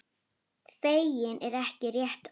Feginn er ekki rétta orðið.